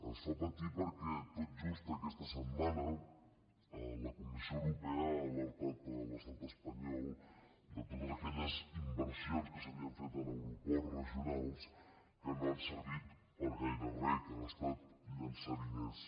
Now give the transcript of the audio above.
ens fa patir perquè tot just aquesta setmana la comissió europea ha alertat l’estat espanyol de totes aquelles inversions que s’havien fet en aeroports regionals que no han servit per a gaire re que han estat llençar diners